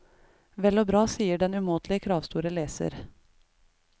Vel og bra, sier den umåtelig kravstore leser.